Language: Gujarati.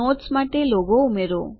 નોટ્સ માટે લોગો ઉમેરો